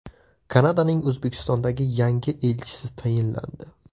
Kanadaning O‘zbekistondagi yangi elchisi tayinlandi.